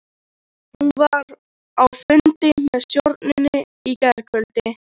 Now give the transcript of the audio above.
Hann var á fundi með stjórninni í gærkvöldi.